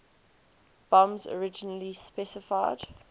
bombs originally specified